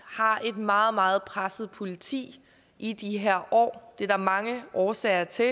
har et meget meget presset politi i de her år det er der mange årsager til